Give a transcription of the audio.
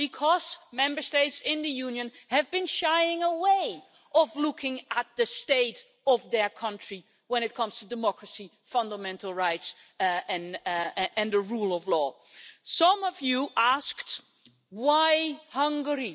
Because Member States in the Union have been shying away from looking at the state of their country when it comes to democracy, fundamental rights and the rule of law. Some speakers asked why Hungary?